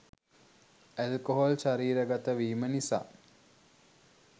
alcohol ශරීර ගත වීම නිසා